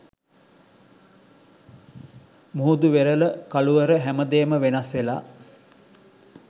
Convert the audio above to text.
මුහුදු වෙරළ කළුවර හැමදේම වෙනස් වෙලා